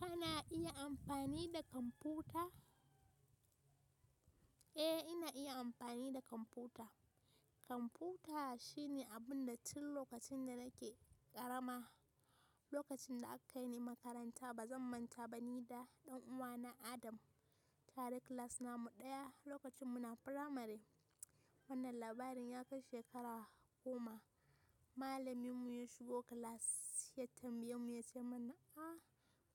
Ana iya amfani da kwamfuta? Eh ina iya amfani da kwamfuta. Kwamfuta shine abun da tun lokacin da nake ƙarama, lokacin da aka kai ni makaranta ba zan manta ba ni da ɗan uwa na Adam, tare class namu ɗaya lokacin muna primary. Wannan labarin ya kai shekara goma. Malamin mu ya shigo class ya tambaye mu ya ce mana “a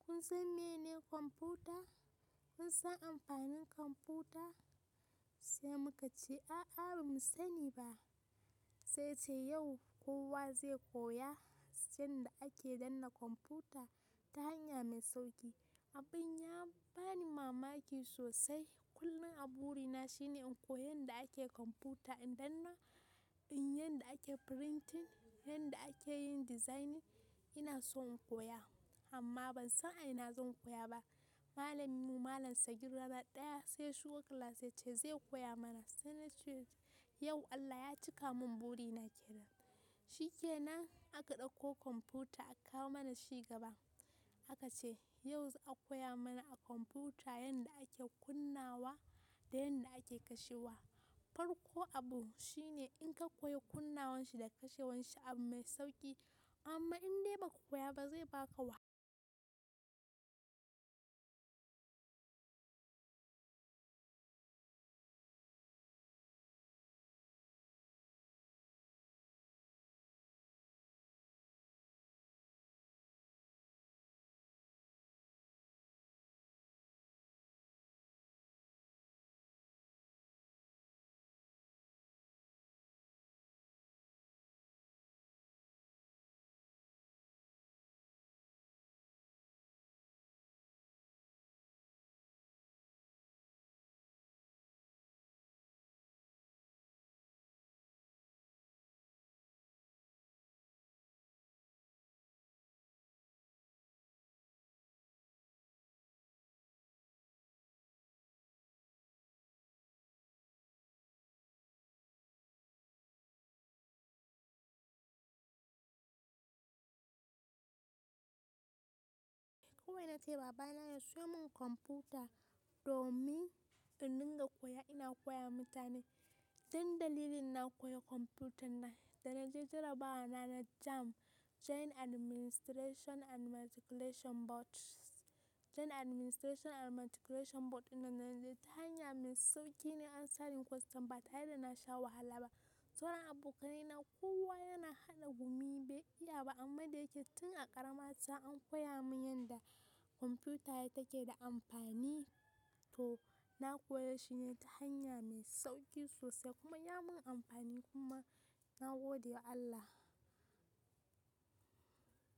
kun san mene kwamfuta? Kun san amfanin kwamfuta?” Sai muka ce a'a bamu sani ba. Sai ce yau kowa zai koya yadda ake danna kwamfuta ta hanya mai sauƙi. Abin ya bani mamaki sosai. Kullum a buri na shine in koyi yadda ake kwamfuta, in danna, in yadda ake printing, yadda ake yin designing. Ina so in koya amma ban san a ina zan koya ba. Malamin mu malam Sagir rana ɗaya sai ya shigo class ya ce zai koya mana. Sai na ce yau Allah ya cika mun buri na kenan. Shikenan aka ɗauko kwamfuta aka kawo mana shi gaba. Aka ce yau za a koya mana a kwamfuta yadda ake kunnawa da yadda ake kashewa. Farkon abu shine in ka koyi kunnawan shi da kashewan shi abu mai sauƙi amma in dai ba ka koya ba zai baka wahala. Kowai na ce wa baba na ya siyo mun kwamfuta domin in dinga koya ina koyawa mutane. Dan dalilin na koya kwamfutan nan, da na je jarabawa na na JAMB, Joint Administration and Matriculation Board, Joint Administration and Matriculation Board din da naje ta hanya mai sauƙi nayi answering question ba tare da na sha wahala ba. Sauran abokanai na kowa yana hada gumi bai iya ba amma da yake tun a ƙaramata an koya min yanda kwamfuta take da amfani to na koya shi ne ta hanya mai sauƙi sosai kuma ya min amfani kuma na gode wa Allah.